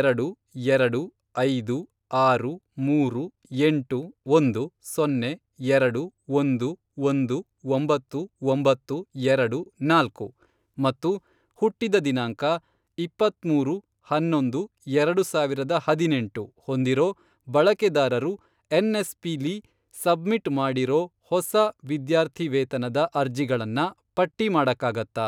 ಎರಡು, ಎರಡು, ಐದು, ಆರು, ಮೂರು, ಎಂಟು, ಒಂದು, ಸೊನ್ನೆ, ಎರಡು, ಒಂದು, ಒಂದು, ಒಂಬತ್ತು, ಒಂಬತ್ತು, ಎರಡು, ನಾಲ್ಕು, ಮತ್ತು ಹುಟ್ಟಿದ ದಿನಾಂಕ, ಇಪ್ಪತ್ಮೂರು, ಹನ್ನೊಂದು, ಎರಡು ಸಾವಿರದ ಹದಿನೆಂಟು, ಹೊಂದಿರೋ ಬಳಕೆದಾರರು ಎನ್. ಎಸ್.ಪಿ.ಲಿ ಸಬ್ಮಿಟ್ ಮಾಡಿರೋ ಹೊಸ ವಿದ್ಯಾರ್ಥಿವೇತನದ ಅರ್ಜಿಗಳನ್ನ ಪಟ್ಟಿ ಮಾಡಕ್ಕಾಗತ್ತಾ?